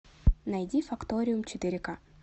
найди факториум четыре ка